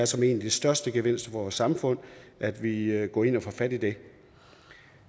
som en af de største gevinster for vores samfund at vi går ind og får fat i det